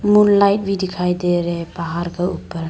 Moonlight भी दिखाई दे रहे हैं पहाड़ का ऊपर।